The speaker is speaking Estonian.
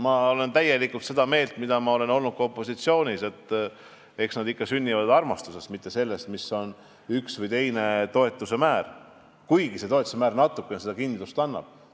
Ma olen täielikult seda meelt, nagu ma olin ka opositsioonis olles, et eks lapsed sünni ikka armastusest, mitte sõltuvalt sellest, milline on ühe või teise toetuse määr, kuigi toetus natukene kindlust annab.